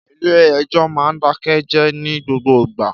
Ìlé ẹjọ mà ń dàké jẹ ni gbogbo gbà